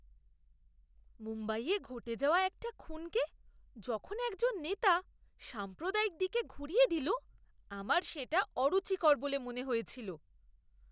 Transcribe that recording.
মুম্বাইয়ে ঘটে যাওয়া একটা খুনকে যখন একজন নেতা সাম্প্রদায়িক দিকে ঘুরিয়ে দিল, আমার সেটা অরুচিকর বলে মনে হয়েছিল!